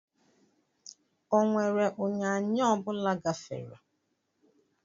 Onwere unyanya ọ bụla gafere?